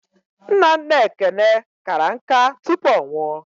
Nna nna Ekene kara nká tupu ọ nwụọ.